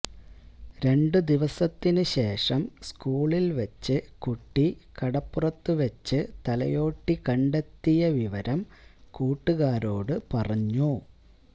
രണ്ടുദിവസത്തിന് ശേഷം സ്കൂളില് വെച്ച് കുട്ടി കടപ്പുറത്ത് വെച്ച് തലയോട്ടി കണ്ടെത്തിയ വിവരം കൂട്ടുകാരോട് പറഞ്ഞു